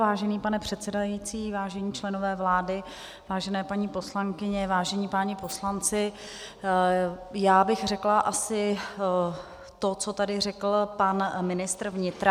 Vážený pane předsedající, vážení členové vlády, vážené paní poslankyně, vážení páni poslanci, já bych řekla asi to, co tady řekl pan ministr vnitra.